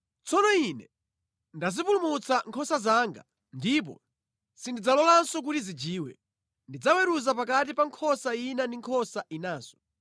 tsono Ine ndidzapulumutsa nkhosa zanga, ndipo sindidzalolanso kuti zijiwe. Ndidzaweruza pakati pa nkhosa ina ndi nkhosa inanso.